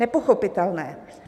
Nepochopitelné.